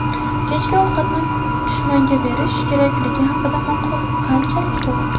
Kechki ovqatni dushmanga berish kerakligi haqidagi maqol qanchalik to‘g‘ri?.